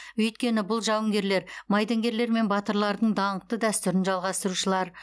өйткені бұл жауынгерлер майдангерлер мен батырлардың даңқты дәстүрін жалғастырушылар